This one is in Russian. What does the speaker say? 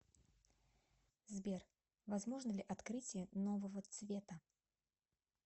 сбер возможно ли открытие нового цвета